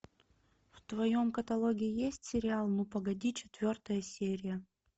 в твоем каталоге есть сериал ну погоди четвертая серия